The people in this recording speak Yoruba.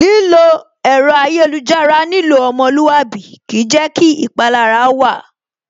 Lílo ẹ̀rọ ayélujára nílò ọmọlúwàbí kìí jẹ́ kí ìpanilára wà